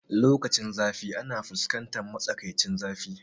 Lokacinzafi ana fuskantar matsakaicin zafi